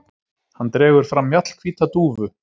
Hann dregur fram mjallhvíta dúfu.